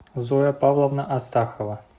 зоя павловна астахова